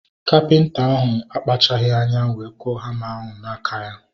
Kapịnta ahu akpachaghi anya wee kụọ hama ahu n'aka ya